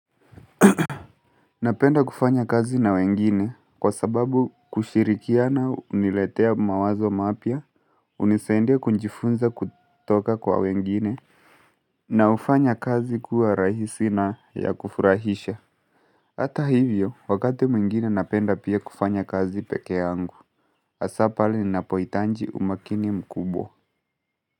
Napenda kufanya kazi na wengine kwa sababu kushirikiana huniletea mawazo mapya, hunisaidia kujifunza kutoka kwa wengine na hufanya kazi kuwa rahisi na ya kufurahisha Hata hivyo, wakati mwingine napenda pia kufanya kazi peke yangu, hasa pahali ninapohitaji umakini mkubwa.